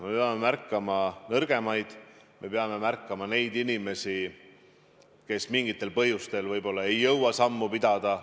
Me peame märkama nõrgemaid, me peame märkama neid inimesi, kes mingitel põhjustel ei jõua paljudega sammu pidada.